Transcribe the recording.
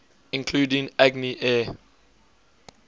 including agni air